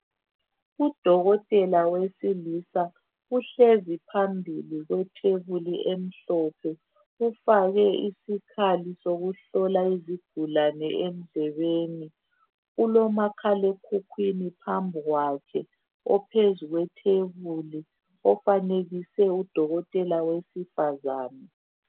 Udokotela wesilisa uhlezi phambili kwethebuli emhlophe ufake isikhali sokuhlola izigulani endlebeni ulomakhalekhukwini phambi kwakhe ophezulu kwethebuli ofanekise udokotela wesifazane